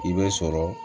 I bɛ sɔrɔ